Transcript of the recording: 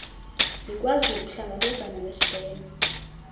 ikwazi ukuhlangabezana nesibheno